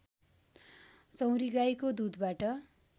चौँरीगाईको दुधबाट